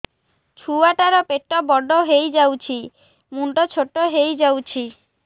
ଛୁଆ ଟା ର ପେଟ ବଡ ହେଇଯାଉଛି ମୁଣ୍ଡ ଛୋଟ ହେଇଯାଉଛି